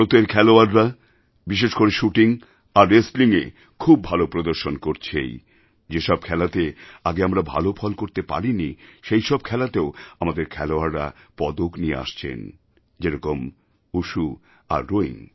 ভারতের খেলোয়াড়রা বিশেষ করে শুটিং আর Wrestlingএখুব ভালো প্রদর্শন করছেই যে সব খেলাতে আগে আমরা ভালো ফল করতে পারিনি সেসব খেলাতেও আমাদের খেলোয়াড়রা পদক নিয়ে আসছেন যেরকম ভুশু আর Rowing